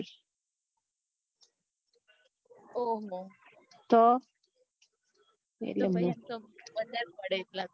ઓ હો તો એટલે